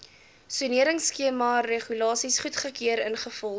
soneringskemaregulasies goedgekeur ingevolge